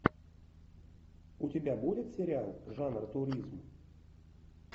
у тебя будет сериал жанр туризм